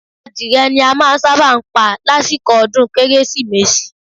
Adìrẹ ni a máa ń sábà ń pa lásìkò ọdún Kérésìmesì